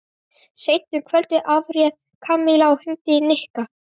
Seint um kvöldið afréð Kamilla að hringja í Nikka.